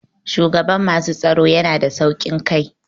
Shugaban masu tsaro yana da sauƙin kai.